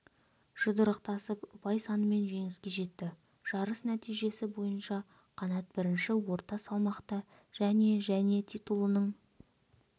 жұдырықтасып ұпай санымен жеңіске жетті жарыс нәтижесі бойынша қанат бірінші орта салмақта және және титулының